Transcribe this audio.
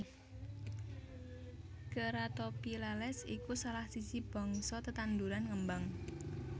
Ceratophyllales iku salah siji bangsa tetanduran ngembang